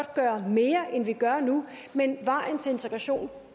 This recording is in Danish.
gøre mere end vi gør nu men vejen til integration